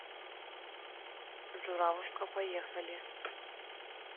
журавушка поехали